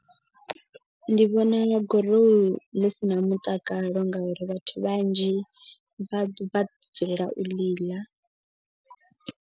Ndi vhona gorohu ḽi si na mutakalo ngauri vhathu vhanzhi vha dzulela u ḽi ḽa.